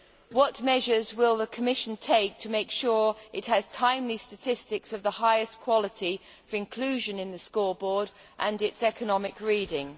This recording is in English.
What measures will the Commission take to make sure that it has timely statistics of the highest quality for inclusion in the scoreboard and its economic reading?